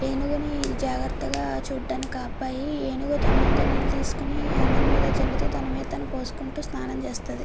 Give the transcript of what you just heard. ఏనుగుని జాగ్రత్తగా చుడానికి ఆ అబ్బాయి ఏనుగు తొండంతో నీళ్లు తీసుకుని అందరి మీద జల్లుతూ తన మీద తను పోసుకుంటూ స్నానం చేస్తది.